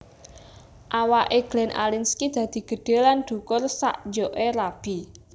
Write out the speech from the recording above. Awak e Glenn Alinskie dadi gedhe lan dhukur sak jok e rabi